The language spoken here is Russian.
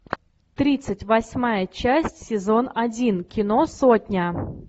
тридцать восьмая часть сезон один кино сотня